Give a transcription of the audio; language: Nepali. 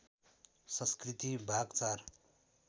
संस्कृति भाग ४